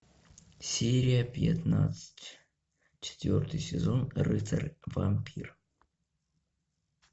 серия пятнадцать четвертый сезон рыцарь вампир